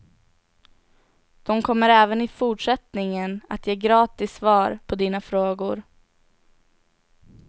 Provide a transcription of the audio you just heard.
De kommer även i fortsättningen att ge gratis svar på dina frågor.